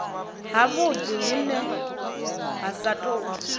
havhudi vhune ha sa tou